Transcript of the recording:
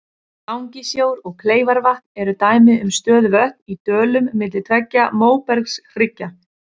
Langisjór og Kleifarvatn eru dæmi um stöðuvötn í dölum milli tveggja móbergshryggja.